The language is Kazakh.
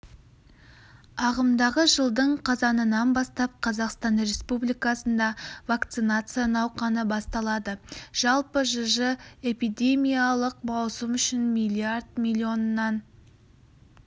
ағымдағы жылдың қазанынан бастап қазақстан республикасында вакцинация науқаны басталады жалпы жж эпидемиялық маусым үшін миллиард миллионнан